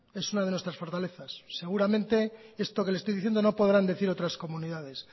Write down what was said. es una de nuestras fortalezas seguramente esto que le estoy diciendo no podrán decir otras comunidades